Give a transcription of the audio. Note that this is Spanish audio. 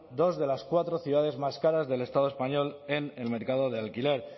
dos de las cuatro ciudades más caras del estado español en el mercado de alquiler